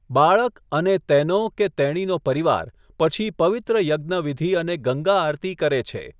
બાળક અને તેનો કે તેણીનો પરિવાર પછી પવિત્ર યજ્ઞ વિધિ અને ગંગા આરતી કરે છે.